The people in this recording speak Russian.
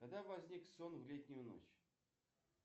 когда возник сон в летнюю ночь